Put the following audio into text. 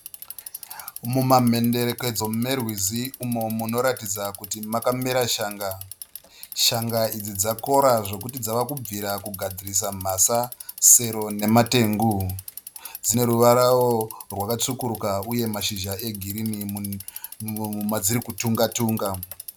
Muma mhenderekedzo merwizi umo munoratidza kuti makamera shanga . Shanga idzi dzakora zvekuta dzava kubvira kugadzirisa mhasa, sero nematengu. Dzine ruvarawo rwakatsvukuruka uye mashizha e girinhi madziri kutunga tunga.